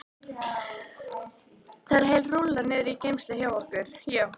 Það er heil rúlla niðri í geymslu hjá okkur, já.